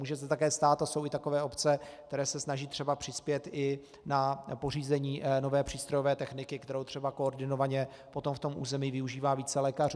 Může se také stát, a jsou i takové obce, které se snaží třeba přispět i na pořízení nové přístrojové techniky, kterou třeba koordinovaně potom v tom území využívá více lékařů.